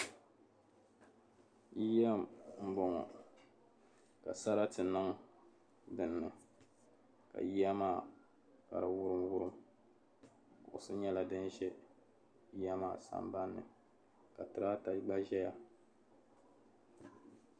Yiya m-bɔŋɔ ka sarati niŋ din ni ka yiya maa ka di wurimwurim kuɣisi nyɛla din zanza yiya maa sambanni ka tirata gba zaya.